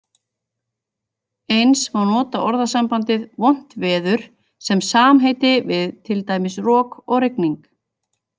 Eins má nota orðasambandið vont veður sem samheiti við, til dæmis, rok og rigning.